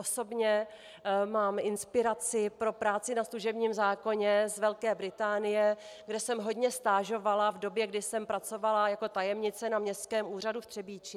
Osobně mám inspiraci pro práci na služebním zákoně z Velké Británie, kde jsem hodně stážovala v době, kdy jsem pracovala jako tajemnice na Městském úřadu v Třebíči.